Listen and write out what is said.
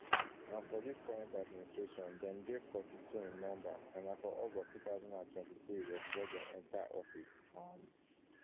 and for dis current administration dem dey forty-two in number and na for august two thousand and twenty-three dem swear enta office um